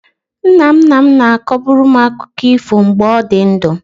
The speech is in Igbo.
Nna nna m na-akọbu m akụkọ ifo mgbe ọ dị ndụ.